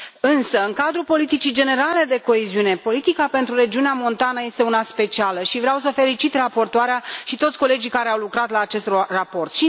Însă, în cadrul politicii generale de coeziune, politica pentru regiunea montană este una specială și vreau să felicit raportoarea și toți colegii care au lucrat la acest raport.